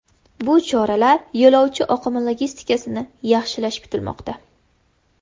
Bu choralar yo‘lovchi oqimi logistikasini yaxshilashi kutilmoqda.